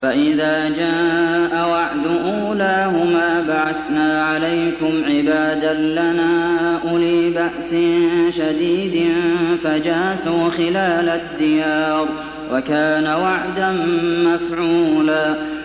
فَإِذَا جَاءَ وَعْدُ أُولَاهُمَا بَعَثْنَا عَلَيْكُمْ عِبَادًا لَّنَا أُولِي بَأْسٍ شَدِيدٍ فَجَاسُوا خِلَالَ الدِّيَارِ ۚ وَكَانَ وَعْدًا مَّفْعُولًا